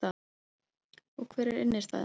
Og hver er innstæðan